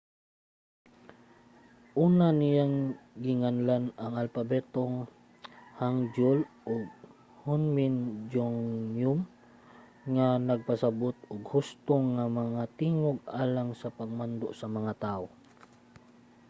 una niyang ginganlan ang alpabetong hangeul og hunmin jeongeum nga nagpasabut og husto nga mga tingog alang sa pagmando sa mga tawo